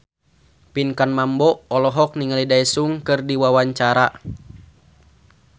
Pinkan Mambo olohok ningali Daesung keur diwawancara